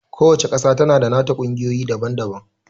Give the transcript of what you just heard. Ku wacca ƙasa tana da nata ƙungiyoyi daban-daban